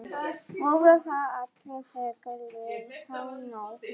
Voru þar allir þögulir þá nótt.